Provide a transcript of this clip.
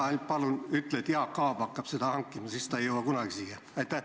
Ära ainult palun ütle, et Jaak Aab hakkab seda hankima, siis see ei jõua kunagi siia!